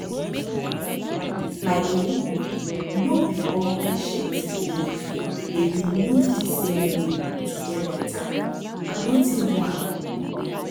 like ee no be all patient believe de believe de same way to get beta and nothin do am